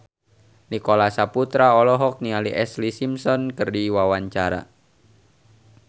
Nicholas Saputra olohok ningali Ashlee Simpson keur diwawancara